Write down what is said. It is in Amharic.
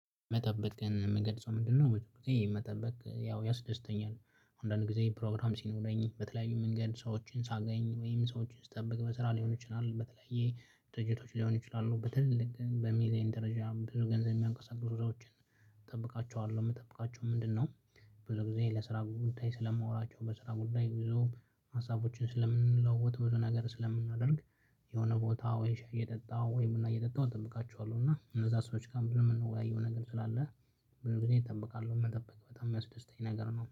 መጠበቅን ምገልጸው ምንድነው? መጠበቅ ያው ያስደስተኛል አንዳንድ ጊዜ ፕሮግራም ሲኖረኝ በተለያዩ መንገድ ሰዎችን ሳገኝ ወይም ሰዎችን ስጠብቅ በስራ ሊሆን ይችላል በተለያየ ድርጅቶች ሊሆን ይችላሉ በትልቅ ግን በሚሊየን ደረጃ ብዙ ገንዘብ የሚያንቀሳሱ ሰዎችን። እጠብቃቸዋለሁ ምጠብቃቸው ምንድን ነው? ብዙ ጊዜ ለስራ ጉዳይ ስለማወራቸው በስራ ጉዳይ ብዙ ሀሳቦችን ስለምንለዋወጥ ብዙ ነገር ስለምናደርግ። የሆነ ቦታ ወይ ሻይ እየጠጣሁ ወይም ቡና እየጠጣሁ እጠብቃችኋለሁ እና እነዛ ሰዎች ጋር ብዙ የምንወያይው ነገር ስላለ። ብዙ ጊዜ እጠብቃለሁ መጠበቅ በጣም የሚያስደስተኝ ነገር ነው